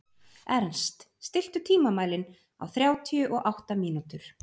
Ernst, stilltu tímamælinn á þrjátíu og átta mínútur.